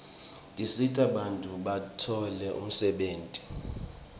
tisita bantfu batfole umsebenti